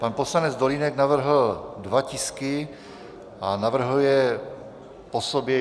Pan poslanec Dolínek navrhl dva tisky a navrhl je po sobě.